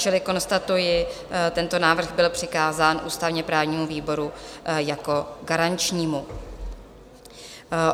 Čili konstatuji, tento návrh byl přikázán ústavně-právnímu výboru jako garančnímu.